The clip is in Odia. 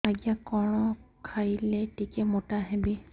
ଆଜ୍ଞା କଣ୍ ଖାଇଲେ ଟିକିଏ ମୋଟା ହେବି